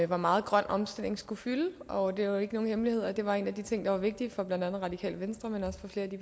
hvor meget grøn omstilling skulle fylde og det er jo ikke nogen hemmelighed at det var en af de ting der var vigtige for blandt andet radikale venstre men også for flere af de